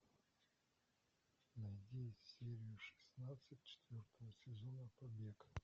найди серию шестнадцать четвертого сезона побег